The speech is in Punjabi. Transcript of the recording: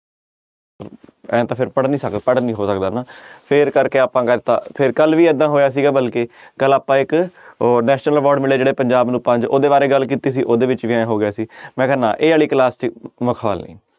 ਇਉਂ ਤਾਂ ਫਿਰ ਪੜ੍ਹ ਨੀ ਸਕ~ ਪੜ੍ਹ ਨੀ ਹੋ ਸਕਦਾ ਨਾ ਫਿਰ ਕਰਕੇ ਆਪਾਂ ਫਿਰ ਕੱਲ੍ਹ ਵੀ ਏਦਾਂ ਹੋਇਆ ਸੀਗਾ ਬਲਕਿ ਕੱਲ੍ਹ ਆਪਾਂ ਇੱਕ ਉਹ national award ਮਿਲੇ ਜਿਹੜੇ ਪੰਜਾਬ ਨੂੰ ਪੰਜ ਉਹਦੇ ਬਾਰੇ ਗੱਲ ਕੀਤੀ ਸੀ ਉਹਦੇ ਵਿੱਚ ਵੀ ਇਉਂ ਹੋ ਗਿਆ ਸੀ ਮੈਂ ਕਿਹਾ ਨਾ ਇਹ ਵਾਲੀ class 'ਚ ਮਖੌਲ ਨੀ।